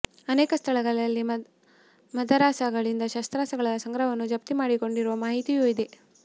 ಅನೇಕ ಸ್ಥಳಗಳಲ್ಲಿ ಮದರಸಾಗಳಿಂದ ಶಸ್ತ್ರಾಸ್ತ್ರಗಳ ಸಂಗ್ರಹವನ್ನು ಜಪ್ತಿ ಮಾಡಿಕೊಂಡಿರುವ ಮಾಹಿತಿಯೂ ಇದೆ